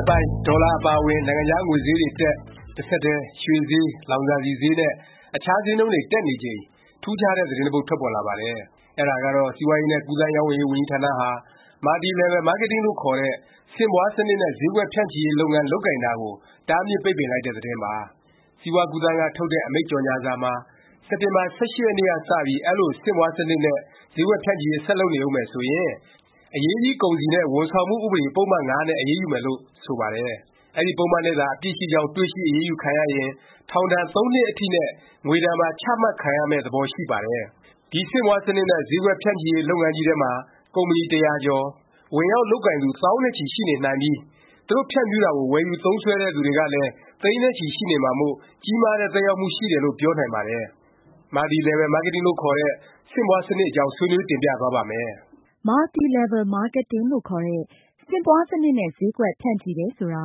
က်ပိုင်း ဒေါ်လာအပါအဝင် နိုင်ငံခြား ငွေဈေးတွေတက်၊ တဆက်တည်း ရွှေဈေး၊ လောင်စာဆီဈေးနဲ့ အခြားဈေးနှုန်းတွေ တက်နေချိန် ထူးခြားတဲ့ သတင်းတပုဒ် ထွက်ပေါ်လာပါတယ်။ အဲဒါကတော့ စီးပွားရေးနဲ့ ကူးသန်းရောင်းဝယ်ရေး ဝန်ကြီးဌာနဟာ Multi Level Marketing, MLM လို့ခေါ်တဲ့ ဆင့်ပွားစနစ်နဲ့ ဈေးကွက်ဖြန့်ချီရေး လုပ်ငန်း လုပ်ကိုင်တာကို တားမြစ်ပိတ်ပင်လိုက်တဲ့ သတင်းပါ။ စီးပွား-ကူးသန်းက ထုတ်တဲ့ အမိန့်ကြော်ငြာစာမှာ စက်တင်ဘာ ၁၈ ရက်နေ့ကစပြီး အဲလို ဆင့်ပွားစနစ်နဲ့ ဈေးကွက်ဖြန့်ချီရေး ဆက်လုပ်နေဦးမယ် ဆိုရင် အရေးကြီး ကုန်စည်နဲ့ ဝန်ဆောင်မှု ဥပဒေ ပုဒ်မ ၅ နဲ့ အရေးယူမယ်လို့ ဆိုပါတယ်။ အဲဒီ ပုဒ်မနဲ့သာ အပြစ်ရှိကြောင်း တွေ့ရှိ အရေးယူခံရရင် ထောင်ဒါဏ် ၃ နှစ်အထိနဲ့ ငွေဒါဏ်ပါ ချမှတ်ခံရမယ့် သဘော ရှိနေပါတယ်။ ဒီ ဆင့်ပွားနစ်နဲ့ ဈေးကွက်ဖြန့်ချီရေး လုပ်ငန်းကြီးထဲမှာ ကုမ္ပဏီ တရာကျော်၊ ဝင်ရောက်လုပ်ကိုင်သူ သောင်းနဲ့ချီ ရှိနေနိုင်ပြီး၊ သူတို့ ဖြန့်ဖြူးတာကို ဝယ်ယူသုံးစွဲတဲ့သူတွေကလည်း သိန်းနဲ့ချီ ရှိနေမှာမို့ ကြီးမားတဲ့ သက်ရောက်မှုရှိတယ် လို့ ပြောနိုင်ပါတယ်။ Multi Level Marketing လို့ ခေါ်တဲ့ ဆင့်ပွားစနစ် အကြောင်း ဆွေးနွေး တင်ပြသွားပါ့မယ်။ Multi Level Marketing လို့ခေါ်တဲ့ ဆင့်ပွားစနစ်နဲ့ ဈေးကွက် ဖြန့်ချီတယ် ဆိုတာ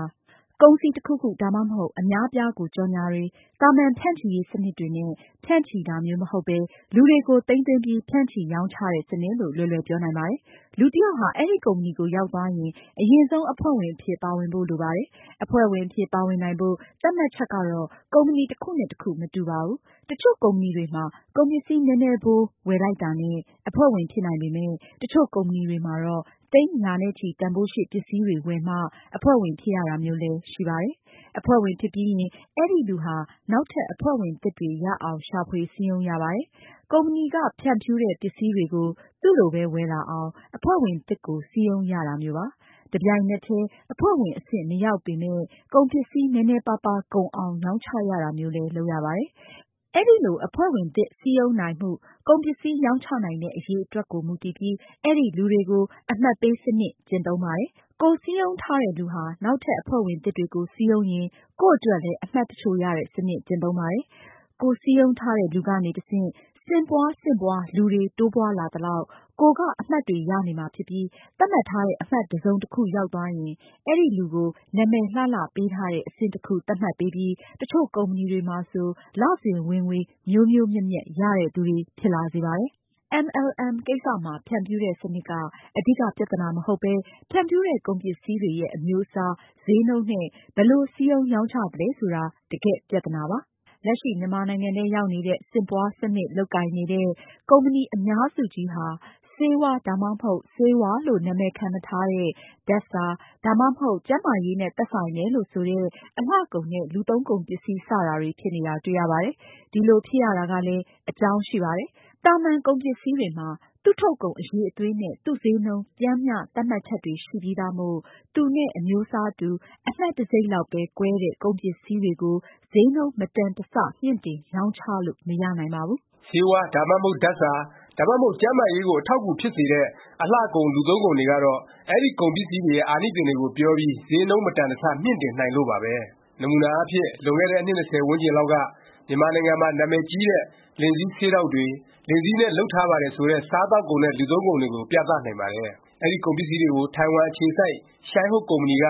ကုန်စည် တခုခု၊ ဒါမှမဟုတ် အများအပြားကို ကြော်ငြာတွေ၊ သာမန် ဖြန့်ချီရေး စနစ်တွေနဲ့ ဖြန့်ချီတာမျိုး မဟုတ်ပဲ လူတွေကို သိမ်းသွင်းပြီး ဖြန့်ချီရောင်းချတဲ့ စနစ်လို့ လွယ်လွယ် ပြောနိုင်ပါတယ်။ လူတယောက်ဟာ အဲဒီ ကုမ္ပဏီကို ရောက်သွားရင် အရင်ဆုံး အဖွဲ့ဝင်အဖြစ် ပါဝင်ဖို့ လိုပါတယ်။ အဖွဲ့ဝင်အဖြစ် ပါဝင်နိုင်ဖို့ သတ်မှတ်ချက်ကတော့ ကုမ္ပဏီ တခုနဲ့ တခု မတူပါဘူး။ တချို့ကုမ္ပဏီတွေမှာ ကုန်ပစ္စည်းနည်းနည်းဖိုး ဝယ်လိုက်တာနဲ့ အဖွဲ့ဝင် ဖြစ်နိုင်ပေမယ့် တချို့ကုမ္ပဏီတွေမှာတော့ သိန်းရာနဲ့ချီ တန်ဘိုးရှိ ပစ္စည်းတွေ ဝယ်မှ အဖွဲ့ဝင် ဖြစ်ရတာမျိုးလည်း ရှိပါတယ်။ အဖွဲ့ဝင်ဖြစ်ပြီးရင် အဲဒီလူဟာ နောက်ထပ် အဖွဲ့ဝင်သစ်တွေ ရအောင် ရှာဖွေ စည်းရုံးရပါတယ်။ ကုမ္ပဏီက ဖြန့်ဖြူးတဲ့ ပစ္စည်းတွေကို သူ့လိုပဲ ဝယ်လာအောင် အဖွဲ့ဝင်သစ်ကို စည်းရုံးရတာမျိုးပါ။ တပြိုင်နက်တည်း အဖွဲ့ဝင် အဆင့် မရောက်ပေမယ့် ကုန်ပစ္စည်း နည်းနည်းပါးပါး ကုန်အောင် ရောင်းချရတာမျိုးလည်း လုပ်ရပါတယ်။ အဲလို အဖွဲ့ဝင်သစ် စည်းရုံးနိုင်မှု၊ ကုန်ပစ္စည်း ရောင်းချနိုင်တဲ့ အရည်အတွက်ကို မူတည်ပြီး အဲဒီလူတွေကို အမှတ်ပေးစနစ် ကျင့်သုံးပါတယ်။ ကိုယ်စည်းရုံးထားတဲ့လူဟာ နောက်ထပ် အဖွဲ့ဝင်သစ်တွေကို စည်းရုံးရင် ကိုယ့်အတွက်လည်း အမှတ်တချို့ ရတဲ့ စနစ် ကျင့်သုံးပါတယ်။ ကိုယ်စည်းရုံးထားတဲ့ လူကနေ တဆင့် ဆင့်ပွား ဆင့်ပွား လူတွေ တိုးပွားလာသလောက် ကိုယ်က အမှတ်တွေရနေမှာဖြစ်ပြီး သတ်မှတ်ထားတဲ့ အမှတ် တစ်စုံတခု ရောက်သွားရင် အဲဒီလူကို နာမည်လှလှပေးထားတဲ့ အဆင့်တခု သတ်မှတ်ပေးပြီး တစ်ချို့ကုမ္ပဏီတွေမှာဆို လစဉ် ဝင်ငွေ မြိုးမြိုးမြက်မြက် ရတဲ့သူတွေ ဖြစ်လာစေပါတယ်။ MLM ကိစ္စမှာ ဖြန့်ဖြူးတဲ့ စနစ်က အဓိက ပြသနာ မဟုတ်ပဲ ဖြန့်ဖြူးတဲ့ ကုန်ပစ္စည်းတွေရဲ့ အမျိုးအစား၊ ဈေးနှုန်းနဲ့ ဘယ်လို စည်းရုံးရောင်းချသလဲ ဆိုတာက တကယ့် ပြသနာပါ။ လက်ရှိ မြန်မာနိုင်ငံထဲ ရောက်နေတဲ့ ဆင့်ပွားစနစ် လုပ်ကိုင်နေတဲ့ ကုမ္ပဏီ အများစုကြီးဟာ ဆေးဝါး၊ ဒါမှမဟုတ် ဆေးဝါးလို့ နာမည်ခံမထားတဲ့ ဓာတ်စာ၊ ဒါမှမဟုတ် ကျန်းမာရေးနဲ့ သက်ဆိုင်တယ်လို့ ဆိုတဲ့ အလှကုန်နဲ့ လူသုံးကုန်ပစ္စည်း စတာတွေ ဖြစ်နေတာ တွေ့ရပါတယ်။ ဒီလို ဖြစ်ရတာကလည်း အကြောင်းရှိပါတယ်။ သာမန် ကုန်ပစ္စည်းတွေမှာ သူ့ထုတ်ကုန် အရည်အသွေးနဲ့ သူ့ဈေးနှုန်း ပျမ်းမျှ သတ်မှတ်ချက်တွေ ရှိပြီးသားမို့ သူနဲ့ အမျိုးစားတူ၊ အမှတ်တံဆိပ်လောက်ပဲ ကွဲတဲ့ ကုန်ပစ္စည်းတွေကို ဈေးနှုန်း မတန်တဆ မြှင့်တင် ရောင်းချလို့ မရနိုင်ပါဘူး။ ဆေးဝါး၊ ဒါမှမဟုတ် ဓာတ်စာ၊ ဒါမှမဟုတ် ကျန်းမာရေးကို အထောက်အကူဖြစ်စေတဲ့ အလှကုန် လူသုံးကုန်တွေကတော့ အဲဒီ ကုန်ပစ္စည်းရဲ့ အာနိသင်တွေကို ပြောပြီး ဈေးနှုန်း မတန်တဆ မြှင့်တင်နိုင်လို့ပါပဲ။ နမူနာအားဖြင့် လွန်ခဲ့တဲ့ အနှစ် ၂၀ ဝန်းကျင်လောက်က မြန်မာနိုင်ငံမှာ နာမည်ကြီးတဲ့ လင်ဇီး ဆေးတောင့်တွေ၊ လင်ဇီးနဲ့ လုပ်ထားပါတယ် ဆိုတဲ့ စားသောက်ကုန်နဲ့ လူသုံးကုန်တွေကို ပြသနိုင်ပါတယ်။ အဲဒီ ကုန်ပစ္စည်းတွေကို ထိုင်ဝမ်အခြေစိုက် ရှိုင်းဟုတ် ကုမ္ပဏီက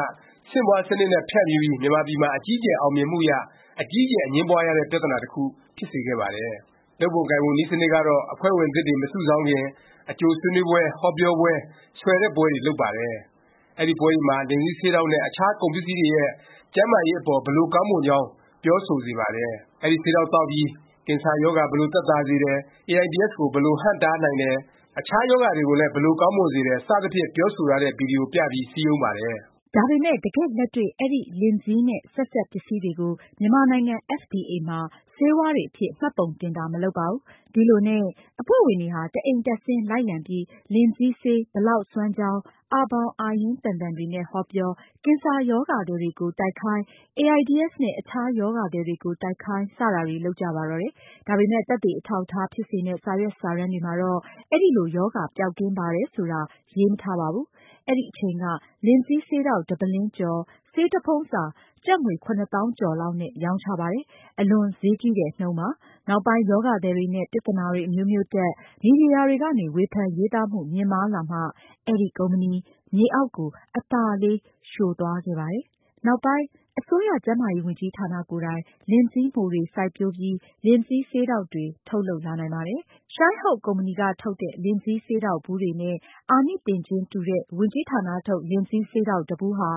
ဆင့်ပွားစနစ်နဲ့ ဖြန့်ဖြူးပြီး မြန်မာပြည်မှာ အကြီးအကျယ် အောင်မြင်မှုရ၊ အကြီးအကျယ် အငြင်းပွားရတဲ့ ပြသနာ တခု ဖြစ်စေခဲ့ပါတယ်။ လုပ်ပုံကိုင်ပုံ နည်းစနစ်ကတော့ အဖွဲ့ဝင်သစ်တွေ မစုဆောင်းခင် အကြိုဆွေးနွေးပွဲ၊ ဟောပြောပွဲ၊ ဆွယ်တဲ့ ပွဲတွေ လုပ်ပါတယ်။ အဲဒီပွဲတွေမှာ လင်ဇီးဆေးတောင့်နဲ့ အခြား ကုန်ပစ္စည်းတွေရဲ့ ကျန်းမာရေးအပေါ် ဘယ်လို ကောင်းမွန်ကြောင်း ပြောဆိုစေပါတယ်။ အဲဒီဆေးတောင့်သောက်ပြီး ကင်ဆာရောဂါ ဘယ်လို သက်သာစေတယ်၊ အေအိုင်ဒီအက်စ်ကို ဘယ်လို တားထားနိုင်တယ်၊ အခြား ရောဂါတွေကိုလည်း ဘယ်လို ကောင်းမွန်စေတယ် စသဖြင့် ပြောဆိုထားတဲ့ ဗီဒီယို ပြပြီး စည်းရုံးပါတယ်။ ဒါပေမယ့် တကယ့်လက်တွေ့ အဲဒီ လင်ဇီးနဲ့ ဆက်စပ်ပစ္စည်းတွေကို မြန်မာနိုင်ငံ FDA မှာ ဆေးဝါးတွေအဖြစ် မှတ်ပုံတင်တာ မလုပ်ပါဘူး။ ဒီလိုနဲ့ အဖွဲ့ဝင်တွေဟာ တအိမ်တက်ဆင်း လိုက်လံပြီး လင်ဇီးဆေး ဘယ်လောက် စွမ်းကြောင်း အာဘောင်အာရင်းသန်သန်တွေနဲ့ ဟောပြော၊ ကင်ဆာရောဂါသည်ကို တိုက်ခိုင်း၊ အေအိုင်ဒီအက်စ် နဲ့ အခြားရောဂါသည်တွေကို တိုက်ခိုင်း စတာတွေ လုပ်ကြပါတော့တယ်။ ဒါပေမယ့် သက်သေ အထောက်အထား ဖြစ်စေမယ့် စာရွက်စာတမ်းတွေမှာတော့ အဲလို ရောဂါပျောက်ကင်းပါတယ် ဆိုတာ ရေးမထားပါဘူး။ အဲဒီအချိန်က လင်ဇီးဆေးတောင့် တပုလင်းကျော်၊ ဆေးတဖုံစာ ကျပ်ငွေ ၇ သောင်းကျော်လောက်နဲ့ ရောင်းချပါတယ်။ အလွန်ဈေးကြီးတဲ့ နှုန်းပါ။ နောက်ပိုင်း ရောဂါသည်တွေနဲ့ ပြသနာတွေ အမျိုးမျိုးတက်၊ မီဒီယာတွေကနေ ဝေဖန်ရေးသားမှု မြင့်မားလာမှ အဲဒီ ကုမ္ပဏီ မြေအောက်ကို အသာလေး လျှိုးသွားခဲ့ပါတယ်။ နောက်ပိုင်း အစိုးရ ကျန်းမာရေးဝန်ကြီးဌာနကိုယ်တိုင် လင်ဇီးမှိုတွေ စိုက်ပျိုးပြီး လင်ဇီး ဆေးတောင့်တွေ ထုတ်လုပ်လာနိုင်ပါတယ်။ ရှိုင်းဟုတ် ကုမ္ပဏီက ထုတ်တဲ့ လင်ဇီးဆေးတောင့်ဗူးတွေနဲ့ အာနိသင်ချင်း တူတဲ့ ဝန်ကြီးဌာနထုတ် လင်ဇီးဆေးတောင့် တဗူးဟာ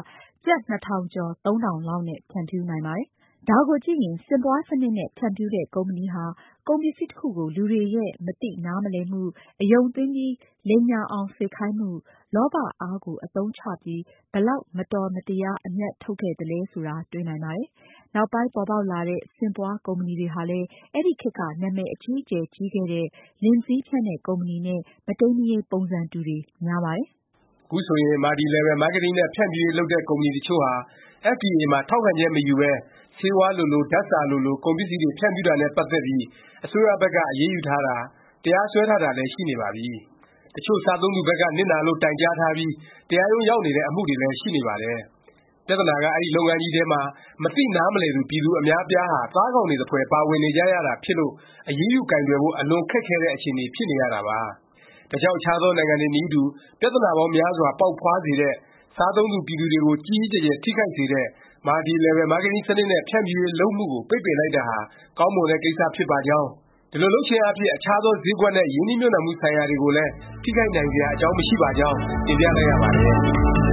ကျပ် ၂၀၀၀ ကျော် ၃၀၀၀ လောက်နဲ့ ဖြန့်ဖြူးနိုင်ပါတယ်။ ဒါကိုကြည့်ရင် ဆင့်ပွားစနစ်နဲ့ ဖြန့်ဖြူးတဲ့ ကုမ္ပဏီဟာ ကုန်ပစ္စည်းတခုကို လူတွေရဲ့မသိနားမလည်မှု၊ အယုံသွင်းပြီး လိမ်ညာအောင် စေခိုင်းမှု၊ လောဘ အားကို အသုံးချပြီး ဘယ်လောက် မတော်မတရား အမြတ်ထုတ်ခဲ့သလဲ တွေ့နိုင်ပါတယ်။ နောက်ပိုင်း ပေါ်ပေါက်လာတဲ့ ဆင့်ပွားကုမ္ပဏီတွေဟာလည်း အဲဒီခေတ်က နာမည်အကြီးအကျယ် ကြီးခဲ့တဲ့ လင်ဇီးဖြန့်တဲ့ ကုမ္ပဏီနဲ့ မတိမ်းမယိမ်း ပုံစံတူတွေ များပါတယ်။ ခုဆိုရင် Multi Level Marketing နဲ့ ဖြန့်ဖြူးရေးလုပ်တဲ့ ကုမ္ပဏီတချို့ဟာ FDA မှာ ထောက်ခံချက် မယူပဲ ဆေးဝါးလိုလို၊ ဓာတ်စာလိုလို ကုန်ပစ္စည်းတွေ ဖြန့်ဖြူးတာနဲ့ ပတ်သက်ပြီး အစိုးရဘက်က အရေးယူထားတာ၊ တရားစွဲထားတာတွေလည်း ရှိနေပါပြီ။ တချို့ စားသုံးသူဘက်က နစ်နာလို့ တိုင်ကြားထားပြီး တရားရုံးရောက်နေတဲ့ အမှုတွေလည်း ရှိနေပါတယ်။ ပြသနာက အဲဒီ လုပ်ငန်းကြီးထဲမှာ မသိနားမလည်သူ ပြည်သူအများအပြားဟာ သားကောင်တွေသဖွယ် ပါဝင်နေကြရတာ ဖြစ်လို့ အရေးယူကိုင်တွယ်ဖို့ အလွန်ခက်ခဲတဲ့ အခြေအနေ ဖြစ်နေရတာပါ။ ဒါကြောင့် အခြားသော နိုင်ငံတွေနည်းတူ ပြသနာပေါင်းများစွာ ပေါက်ဖွားစေတဲ့၊ စားသုံးသူ ပြည်သူတွေကို ကြီးကြီးကျယ်ကျယ် ထိခိုက်စေတဲ့ Multi Level Marketing စနစ်နဲ့ ဖြန့်ဖြူးရေးလုပ်မှုကို ပိတ်ပင်လိုက်တာဟာ ကောင်းမွန်တဲ့ ကိစ္စဖြစ်ပါကြောင်း၊ ဒီလို လုပ်ခြင်းအားဖြင့် အခြားသော ဈေးကွက်နဲ့ ရင်းနှီးမြှုပ်နှံမှု ဆိုင်ရာတွေကိုလည်း ထိခိုက်နိုင်စရာ အကြောင်း မရှိပါကြောင်း တင်ပြလိုက်ရပါတယ်